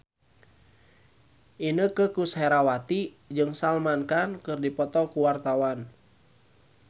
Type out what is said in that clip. Inneke Koesherawati jeung Salman Khan keur dipoto ku wartawan